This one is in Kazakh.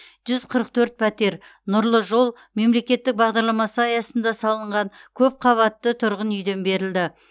жүз қырық төрт пәтер нұрлы жол мемлекеттік бағдарламасы аясында салынған көп қабатты тұрғын үйден берілді